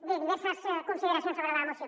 bé diverses consideracions sobre la moció